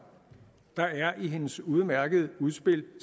der er i hendes udmærkede udspil